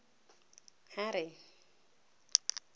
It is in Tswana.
harry